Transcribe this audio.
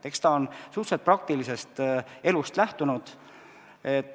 Eks ta ole suhteliselt praktilisest elust lähtunud.